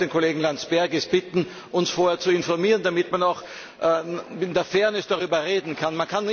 Aber ich würde den Kollegen Landsbergis bitten, uns vorher zu informieren, damit man, auch wenn er fern ist, darüber reden kann.